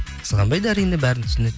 қызғанбайды әрине бәрін түсінеді